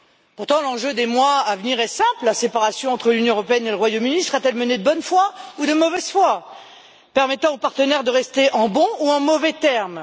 Pourtant, l'enjeu des mois à venir est simple la séparation entre l'Union européenne et le Royaume-Uni sera-t-elle menée de bonne foi ou de mauvaise foi, permettant aux partenaires de rester en bons ou en mauvais termes?